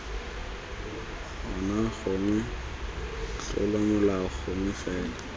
ona gongwe tlolomolao nngwe fela